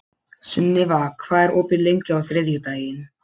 Sunniva, hvað er opið lengi á þriðjudaginn?